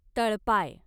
तळपाय